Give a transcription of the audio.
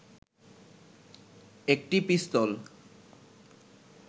একটি পিস্তল